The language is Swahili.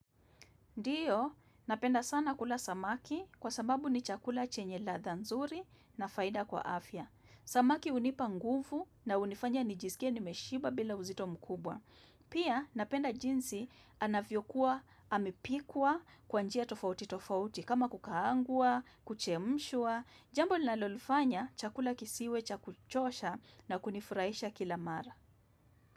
Ndiyo, napenda sana kula samaki kwa sababu ni chakula chenye ladha nzuri na faida kwa afya. Samaki hunipa nguvu na hunifanya nijisikie nimeshiba bila uzito mkubwa. Pia, napenda jinsi anavyo kuwa amepikwa kwa njia tofauti tofauti kama kukaangwa, kuchemshwa. Jambo nalolifanya chakula kisiwe cha kuchosha na kunifurahisha kila mara.